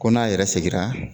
Ko n'a yɛrɛ segira